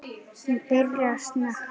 Hún byrjar að snökta.